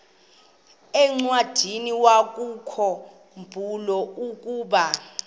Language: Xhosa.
encwadiniwakhu mbula ukuba